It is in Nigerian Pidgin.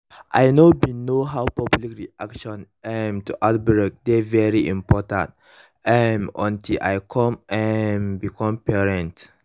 i know bin know how public reaction um to outbreak dey very important um until i come um become parents